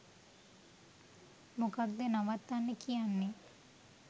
මොකද්ද නවත්තන්න කියන්නේ